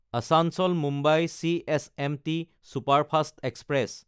আচাঞ্চল–মুম্বাই CSMT superfast express